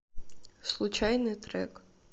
случайный трек